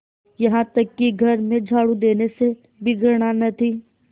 यहाँ तक कि घर में झाड़ू देने से भी घृणा न थी